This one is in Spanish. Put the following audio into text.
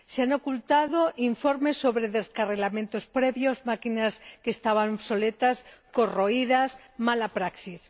Se han ocultado informes sobre descarrilamientos previos, máquinas que estaban obsoletas y corroídas, mala praxis...